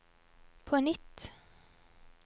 på nytt